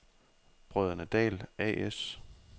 Brødrene Dahl A/S